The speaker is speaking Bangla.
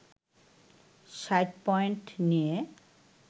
৬০ পয়েন্ট নিয়ে